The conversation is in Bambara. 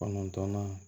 Kɔnɔntɔnnan